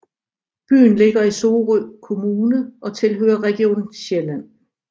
Byen ligger i Sorø Kommune og tilhører Region Sjælland